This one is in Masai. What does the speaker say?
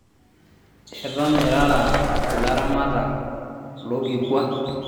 eton irara ilaramatak lokikwa